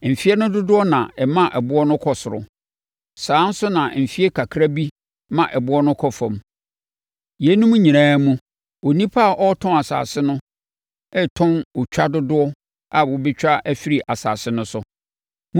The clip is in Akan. Mfeɛ no dodoɔ na ɛma ɛboɔ no kɔ soro. Saa ara nso na mfeɛ kakra bi ma ɛboɔ no kɔ fam. Yeinom nyinaa mu, onipa a ɔretɔn asase no retɔn otwa dodoɔ a wɔbɛtwa afiri asase no so.